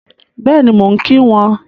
Bẹ́ẹ̀ni, mo ń kí wọn